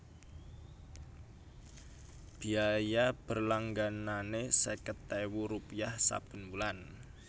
Biaya berlangganané seket ewu rupiah saben wulan